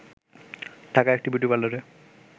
ঢাকার একটি বিউটি পার্লারে